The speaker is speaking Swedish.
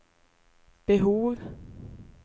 behov